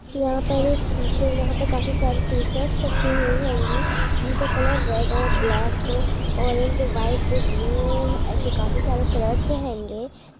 यहाँ पर एक टी-शर्ट यहाँ पर काफी सारे टी-शर्ट्स रखी हुई हैंगी उनके कलर रेड और बब्लैक ऑरेंज व्हाइट ब्लू ऐसे काफी सारे कलर्स हैंगे ।